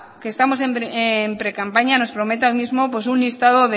que estamos en precampaña nos prometa hoy mismo pues un listado